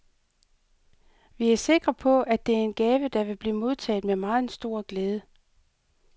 Vi er sikre på, at det er en gave, der vil blive modtaget med meget stor glæde.